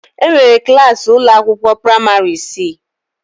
Enwere klas ụlọ akwụkwọ praịmarị isii.